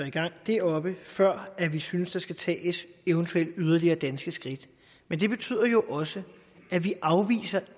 i gang deroppe før vi synes der skal tages eventuelle yderligere danske skridt men det betyder jo også at vi